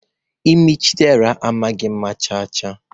imi Chiderah amaghị mma chaa chaa.